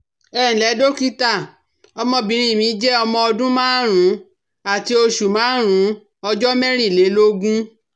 Ẹ ǹlẹ́ dókítà, ọmọbìnrin mi je omo Ọdún márùn-ún àti oṣù márùn-ún ọjọ́ mẹ́rìnlélógún